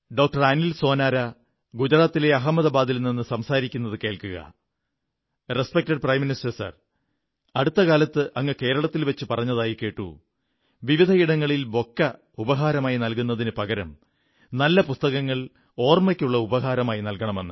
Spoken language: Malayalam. ഡോക്ടർ അനിൽ സോനാരാ ഗുജറാത്തിലെ അഹമ്മദാബാദിൽ നിന്നു സംസാരിക്കുന്നത് കേൾക്കുക ബഹുമാനപ്പെട്ട പ്രധാനമന്ത്രി അടുത്ത കാലത്ത് അങ്ങ് കേരളത്തിൽ വച്ചു പറഞ്ഞതായി കേട്ടു വിവിധയിടങ്ങളിൽ ബൊക്കെ ഉപഹാരമായി നല്കുന്നതിനു പകരം നല്ല പുസ്തകങ്ങൾ ഓർമ്മയ്ക്കുള്ള ഉപഹാരമായി നല്കണമെന്ന്